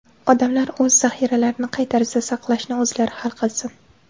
Odamlar o‘z zaxiralarini qay tarzda saqlashni o‘zlari hal qilsin.